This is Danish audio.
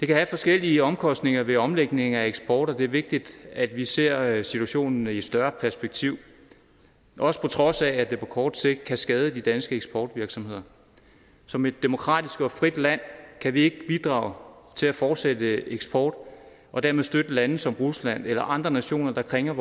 kan være forskellige omkostninger ved omlægningen af eksport og det er vigtigt at vi ser situationen i et større perspektiv også på trods af at det på kort sigt kan skade de danske eksportvirksomheder som et demokratisk og frit land kan vi ikke bidrage til at fortsætte eksporten og dermed støtte lande som rusland eller andre nationer der krænker